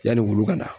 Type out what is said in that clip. Yanni wulu kana